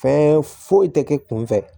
Fɛn foyi tɛ kɛ kun fɛ